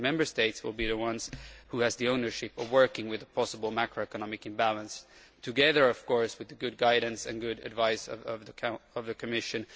The Member States will be the ones who have the ownership of working with a possible macroeconomic imbalance, together of course with the good guidance and good advice of the Commission.